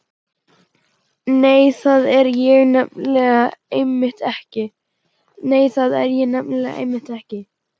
Nei, það er ég nefnilega einmitt ekki.